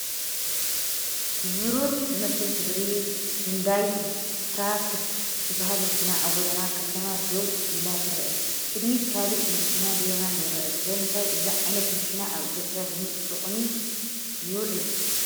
ብብሩር ዝመስል ሕብሪ ሁንዳይ ስታረክስ እትባሃል መኪና ኣብ ጎደና ከተማ ደው ኢላ ትረአ። ቅድሚት ካልእ መኪና ብየማን ይርአ፤ ስለምንታይ እዚ ዓይነት መኪና ኣብ ኢትዮጵያ ልሙድ ጥቕሚ ይውዕል?